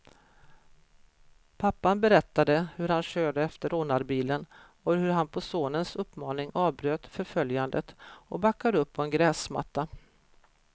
Pappan berättade hur han körde efter rånarbilen, och hur han på sonens uppmaning avbröt förföljandet och backade upp på en gräsmatta.